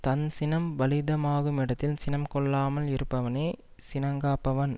தன் சினம் பலிதமாகுமிடத்தில் சினம் கொள்ளாமல் இருப்பவனே சினங்காப்பவன்